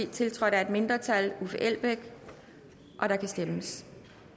tiltrådt af et mindretal og der kan stemmes